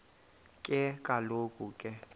ke kaloku ke